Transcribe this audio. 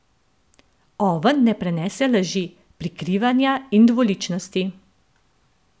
Oven ne prenese laži, prikrivanja in dvoličnosti.